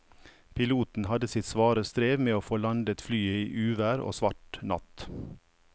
Piloten hadde sitt svare strev med å få landet flyet i uvær og svart natt.